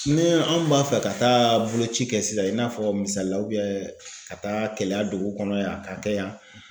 Ne anw b'a fɛ ka taa boloci kɛ sisan i n'a fɔ misalila ka taa keleya dugu kɔnɔ yan ka kɛ yan